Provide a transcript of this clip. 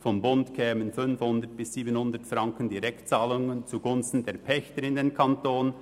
Vom Bund flössen 500 bis 700 Franken Direktzahlungen zugunsten der Pächter in den Kanton.